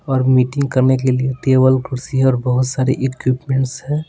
और मीटिंग करने के लिए टेबल कुर्सी और बहुत सारे इक्विपमेंट्स है।